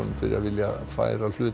fyrir að vilja færa hluta